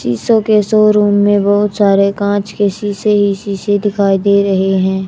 शीशों के शोरूम में बहोत सारे कांच के शीशे ही शीशे दिखाई दे रहे हैं।